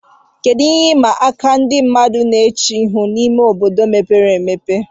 Kedu ihe ịma aka ndị mmadụ na-eche ihu n'ime ime obodo mepere emepe